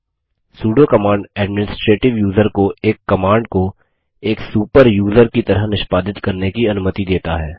pseudo command administrative user को एक command को एक सुपर यूज़र की तरह निष्पादित करने की अनुमति देता है